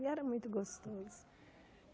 E era muito gostoso.